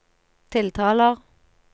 tiltaler